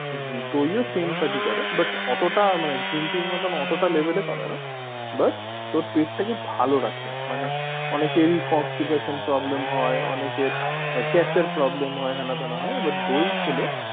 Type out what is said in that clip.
দই ও same কাজ ই করে but অতটা মানে green tea এর মতো অতটা level এ করে না but ও পেটটাকে ভালো রাখে মানে অনেকেরই constipation problem হয় অনেকের আহ gass এর problem হয় হেনা তেনা হয় but দই খেলে